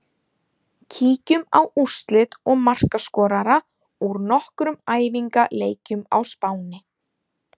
Kíkjum á úrslit og markaskorara úr nokkrum æfingaleikjum á Spáni.